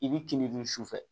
I b'i kinin dun sufɛ